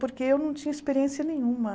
Porque eu não tinha experiência nenhuma.